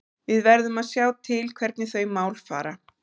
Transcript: Við verðum að sjá til hvernig þau mál fara.